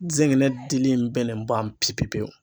N zɛgɛnɛ dili bɛnnen ba pepewu.